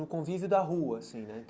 No convívio da rua, assim, né?